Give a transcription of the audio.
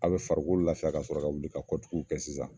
A be farikolo lafiya ka sɔrɔ ka wuli ka kɔtuguw kɛ sisan